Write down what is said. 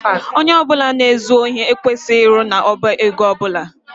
Ónyé ọbula na ezu ohi ekwesịghị ịrụ n' ọbá égo ọbula.